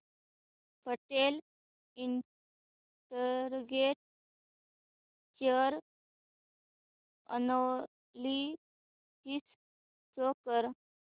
Patel integrate share analysis show कर